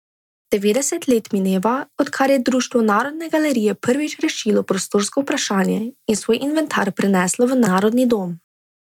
Devetdeset let mineva, odkar je društvo Narodne galerije prvič rešilo prostorsko vprašanje in svoj inventar preneslo v Narodni dom.